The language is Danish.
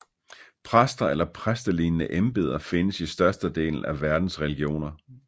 Præster eller præstelignende embeder findes i størstedelen af verdens religioner